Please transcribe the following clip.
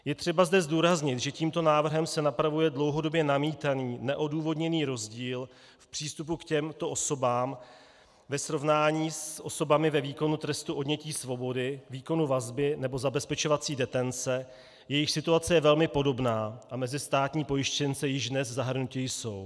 Je třeba zde zdůraznit, že tímto návrhem se napravuje dlouhodobě namítaný neodůvodněný rozdíl v přístupu k těmto osobám ve srovnání s osobami ve výkonu trestu odnětí svobody, výkonu vazby nebo zabezpečovací detence, jejichž situace je velmi podobná a mezi státní pojištěnce již dnes zahrnuti jsou.